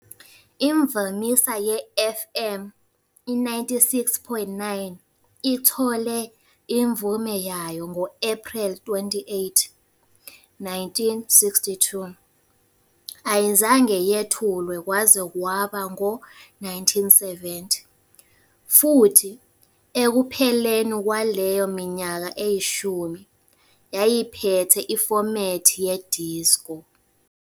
Imvamisa ye-FM, i-96.9, ithole imvume yayo ngo-Ephreli 28, 1962, ayizange yethulwe kwaze kwaba ngawo-1970, futhi ekupheleni kwaleyo minyaka eyishumi, yayiphethe ifomethi ye-disco.